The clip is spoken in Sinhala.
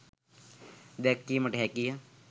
දැක්වීමට හැකිය.